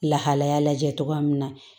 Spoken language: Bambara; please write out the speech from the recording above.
Lahalaya lajɛ cogoya min na